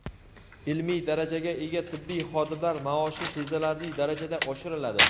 Ilmiy darajaga ega tibbiy xodimlar maoshi sezilarli darajada oshiriladi.